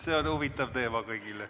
See on huvitav teema kõigile.